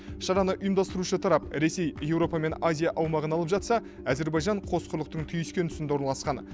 шараны ұйымдастырушы тарап ресей еуропа мен азия аумағын алып жатса әзербайжан қос құрлықтың түйіскен тұсында орналасқан